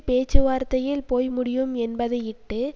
பேச்சுவார்த்தையில் போய்முடியும் என்பதையிட்டு